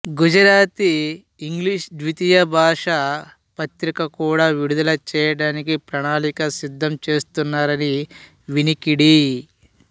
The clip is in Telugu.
గుజరాతిఇంగ్లీషు ద్విభాషా పత్రిక కూడా విడుదల చేయడానికి ప్రణాళిక సిద్ధం చేస్తున్నారని వినికిడి